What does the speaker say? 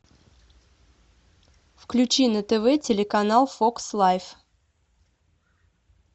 включи на тв телеканал фокс лайв